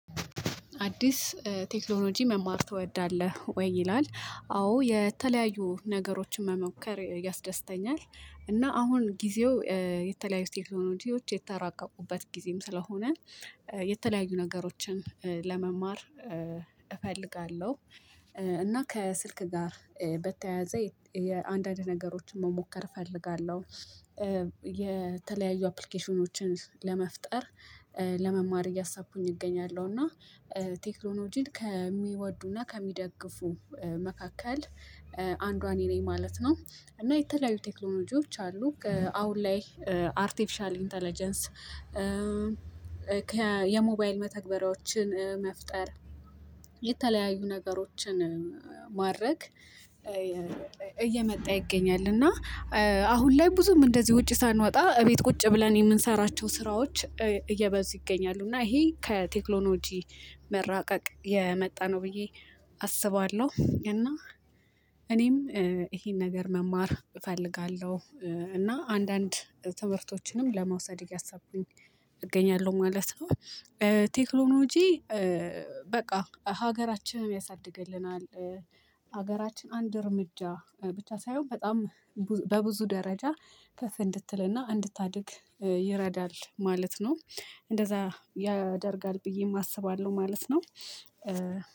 አዲስ ቴክኖሎጂ መማር ትወዳለህ ወይ? ይላል አዎ የተለያዩ ነገሮችን መሞከር ያስደስተኛል እና አሁን ጊዜው የተለያዩ ቴክኖሎጂዎች የተራቀቁበት ጊዜም ስለሆነ የተለያዩ ነገሮችን ለመማር እፈልጋለሁ። እና ከስልክ ጋር በተያያዘ አንዳንድ ነገሮችን መሞከር እፈልጋለሁ። የተለያዩ አፕሊኬሽኖችን ለመፍጠር ለመማር እያሳብኩኝ እገኛለሁ እና። ቴክኖሎጂን ከሚወዱና ከሚደግፉ መካከል አንዷ እኔ ነኝ ማለት ነው። እና የተለያዩ ቴክኖሎጂዎች አሉ አሁን ላይ አርቲፊሻል ኢንተለጀንስ። የሞባይል መተግበሪያዎችን መፍጠር የተለያዩ ነገሮችን ማድረግ። እየመጣ ይገኛል። እና አሁን ላይ ብዙም እንደዚህ ውጪ ሳንወጣ ቤት ቁጭ ብለን የምንሰራቸው ስራዎች እየበዙ ይገኛሉ። እና ይሄ ከቴክኖሎጂ መራቀቅ የመጣ ነው ብዬ አስባለሁ። እና እኔም ይሄን ነገር መማር እፈልጋለሁ እና አንዳንድ ትምህርቶችንም ለመውሰድ እያሰብኩኝ እገኛለሁ ማለት ነው። ቴክኖሎጂ በቃ ሀገራችንን ያሳድግልናል። ሀገራችን አንድ እርምጃ ብቻ ሳይሆን በጣም በብዙ ደረጃ ከፍ እንድትልና እንድታድግ ይረዳል ማለት ነው። እንደዚያ ያደርጋል ብዬም አስባለሁ ማለት ነው።